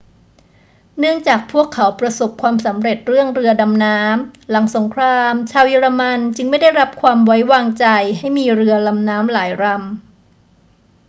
เนื่องจากพวกเขาประสบความสำเร็จเรื่องเรือดำน้ำ หลังสงครามชาวเยอรมันจึงไม่ได้รับความไว้วางใจให้มีเรือลำน้ำหลายลำ